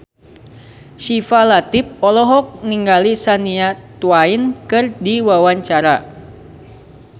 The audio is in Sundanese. Syifa Latief olohok ningali Shania Twain keur diwawancara